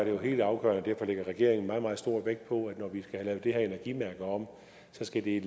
jo helt afgørende og derfor lægger regeringen meget meget stor vægt på at når vi skal have lavet det her energimærke om skal det i